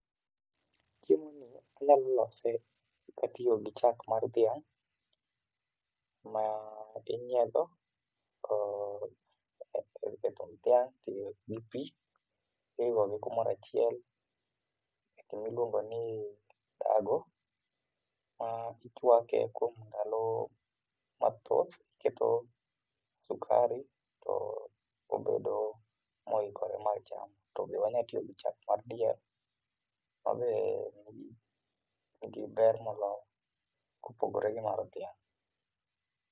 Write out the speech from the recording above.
Chiemo ni anyalo lose katiyo gi chak mar dhiang' ma inyiedho kod e tung dhiang gi pii iriwo gi kumoro achiel e gima iluongo ni tago ma ichwake kuom ndalo mathoth, iketo sukari to obedo moikore mar chamo. To be wanyalo tiyo gi chak mar diel manigi ber moloyo mar dhiang'